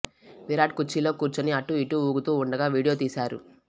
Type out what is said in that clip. విరాట్ కుర్చీలో కూర్చుని అటూ ఇటూ ఊగుతూ ఉండగా వీడియో తీశారు